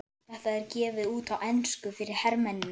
Þetta er gefið út á ensku fyrir hermennina!